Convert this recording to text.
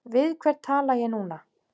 Við hvern tala ég núna?